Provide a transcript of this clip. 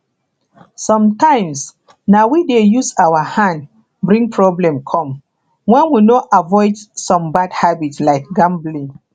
sometimes na we dey use our hand bring problem come when we no avoid some bad habits like gambling